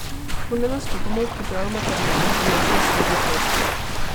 Ko ne nastopamo, pripravljamo material za našo naslednjo ploščo.